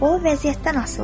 O vəziyyətdən asılıdır.